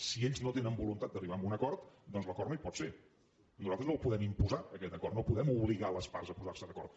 si ells no tenen voluntat d’arribar a un acord doncs l’acord no hi pot ser nosaltres no el podem imposar aquest acord no podem obligar les parts a posar se d’acord